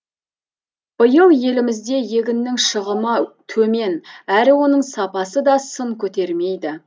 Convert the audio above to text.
биыл елімізде егіннің шығымы төмен әрі оның сапасы да сын көтермейді